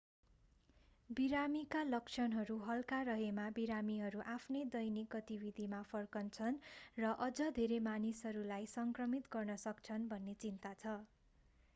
बिरामीका लक्षणहरू हल्का रहेमा बिरामीहरू आफ्नो दैनिक गतिविधिमा फर्कन्छन् र अझ धेरै मानिसहरूलाई सङ्क्रमित गर्न सक्छन्‌ भन्ने चिन्ता छ।